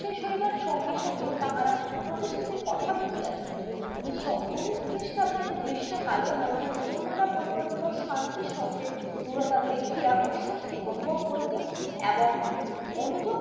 সঙ্গে সঙ্গে তাহারা প্রতিশুতির কথা ভুলিয়া দেয় উনিশশো উনিশ খ্রিস্টাব্দের গ্রীস্মকালে ভারতের মুসলমান এর পরিকল্পিত শান্তি সার্থের রিয়োতী দেখিয়া অস্বস্তি অনুরোধ করিতে এবং অনুযোগ